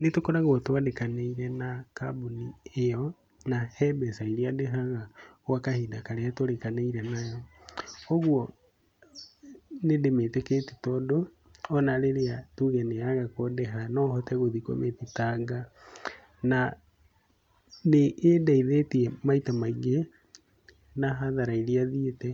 Nĩ tũkoragwo twandkanĩire na kambuni ĩyo, na he mbeca iria ndĩhaga gwa kahinda karia tũrĩkanĩire nao, ũgũo nĩ ndĩmĩtĩkĩtie tondũ, ona rĩrĩa tũge nĩ ya rega kũndĩha nohote gũthiĩ kũmĩthitanga, na nĩ ĩndeithĩtie maita maingĩ na hathara iria thiĩte,